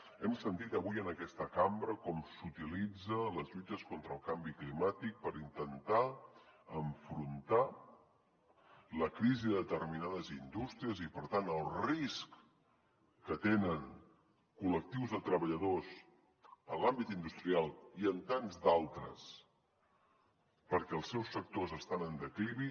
hem sentit avui en aquesta cambra com s’utilitzen les lluites contra el canvi climàtic per intentar enfrontar la crisi de determinades indústries i per tant el risc que tenen col·lectius de treballadors en l’àmbit industrial i en tants d’altres perquè els seus sectors estan en declivi